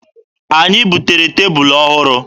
Anyị butere tebụlụ ọhụrụ.